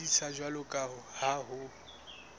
sebediswa jwalo ka ha ho